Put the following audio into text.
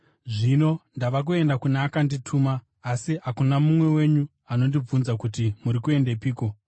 “Zvino ndava kuenda kune akandituma, asi hakuna mumwe wenyu anondibvunza kuti, ‘Muri kuendepiko?’